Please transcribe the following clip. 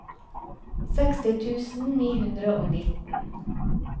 seksti tusen ni hundre og nitten